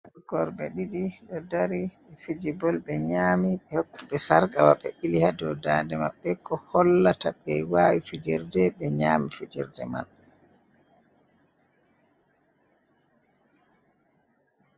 Horrbe ɗiɗi. ɗo dari, fijibol be nyami be hokkiɓe sargawa be be bili ha dow ndande maɓbe ko hollata kai be wawi fijerɗe be nyami fijerɗe man.